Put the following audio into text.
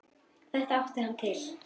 Þetta átti hann til.